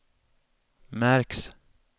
märks